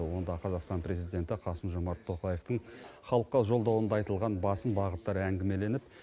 онда қазақстан президенті қасым жомарт тоқаевтың халыққа жолдауында айтылған басым бағыттары әңгімеленіп